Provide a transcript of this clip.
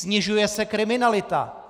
Snižuje se kriminalita.